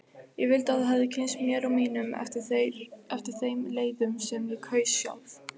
Ég vildi að þú kynntist mér og mínum eftir þeim leiðum sem ég kaus sjálf.